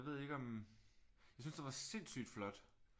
Jeg ved ikke om jeg synes den var sindssygt flot